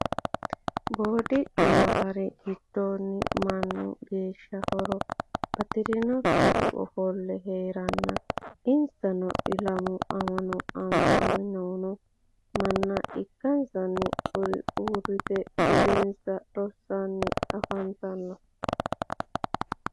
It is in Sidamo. Boodicu naffari gidoonni mannu geesha horo batirinokkihu offolle heerenna insanno isilaamu ama'no amaniinno manna ikkansanni, kuri uuritte budensa rosiisanni afanttanno